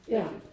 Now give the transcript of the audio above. Ja